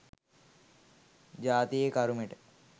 ජාතියේ කරුමෙට.